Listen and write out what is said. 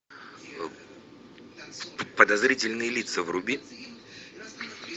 подозрительные лица вруби